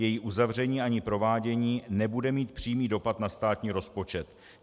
Její uzavření ani provádění nebude mít přímý dopad na státní rozpočet.